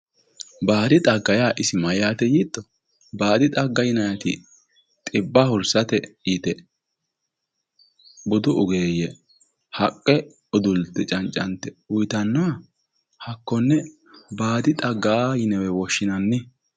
Baadi xagga yaa isi mayyaate yiitto baadi xagga yinayi dhibba hursate yite budu ogeeyye haqqe udulte cancante uyitannoha hakkonne baadi xagga yinewe woshshinanni.